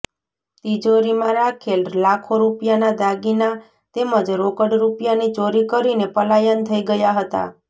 તીજોરીમાં રાખેલ લાખો રુપિયાના દાગીના તેમજ રોકડ રુપિયાની ચોરી કરીને પલાયન થઇ ગયા હતા